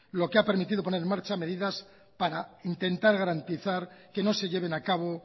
lo que ha permitido poner en marcha medidas para intentar garantizar que no se lleven a cabo